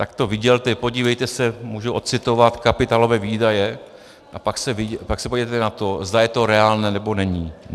Tak to vydělte, podívejte se, můžu ocitovat kapitálové výdaje, a pak se podívejte na to, zda je to reálné, nebo není.